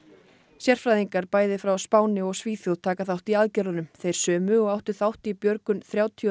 sérfræðingar bæði frá Spáni og Svíþjóð taka þátt í aðgerðunum þeir sömu og áttu þátt í björgun þrjátíu og